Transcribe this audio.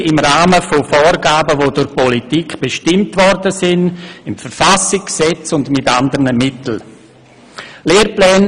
Dies natürlich im Rahmen von Vorgaben, welche durch die Politik in der Verfassung, im Gesetz und mit anderen Mitteln bestimmt wurden.